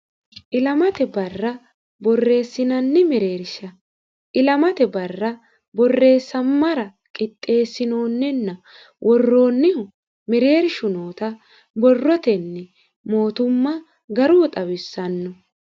ilamate barra borreessinanni mereersha ilamate barra borreessammara qixxeessinoonninna worroonniho mereershu noota borrotenni mootumma garunni xawissanno.